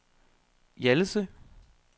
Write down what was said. Hjallese